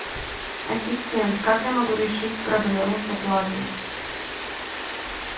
ассистент как я могу решить проблему с оплатой